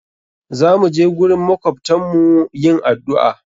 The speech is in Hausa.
Za mu je gurin makwabtan mu yin addu'a.